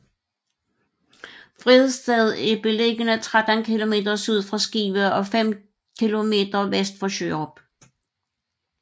Vridsted er beliggende 13 kilometer syd for Skive og fem kilometer vest for Sjørup